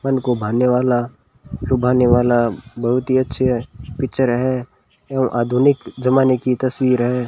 मन को भाने वाला लुभाने वाला बहुत ही अच्छी है पिक्चर है एवं आधुनिक ज़माने की तस्वीर है।